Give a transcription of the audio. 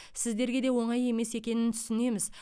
сіздерге де оңай емес екенін түсінеміз